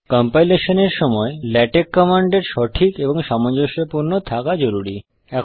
compilation এর সময় LaTeX কমান্ডের সঠিক ও সামঞ্জস্যপূর্ণ থাকা জরুরি